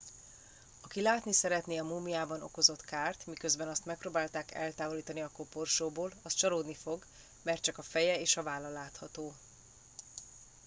aki látni szeretné a múmiában okozott kárt miközben azt megpróbálták eltávolítani a koporsóból az csalódni fog mert csak a feje és a válla látható